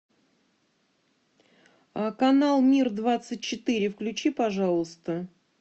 канал мир двадцать четыре включи пожалуйста